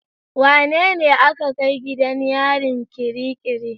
Wanene aka kai gidan yarin kirikiri?